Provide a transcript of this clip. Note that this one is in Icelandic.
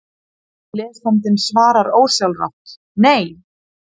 Lesandinn svarar ósjálfrátt: Nei!